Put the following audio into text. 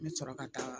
N bɛ sɔrɔ ka taa